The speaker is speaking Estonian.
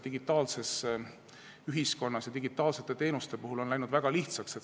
Digitaalses ühiskonnas või digitaalsete teenuste puhul on see läinud väga lihtsaks.